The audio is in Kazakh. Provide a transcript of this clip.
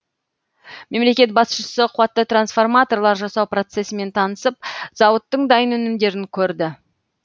мемлекет басшысы қуатты трансформаторлар жасау процесімен танысып зауыттың дайын өнімдерін көрді